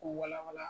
K'u wala wala